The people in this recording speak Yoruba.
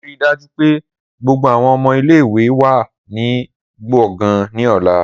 Rii daju pe gbogbo awọn ọmọ ile-iwe wa ni gbongan ni ọla.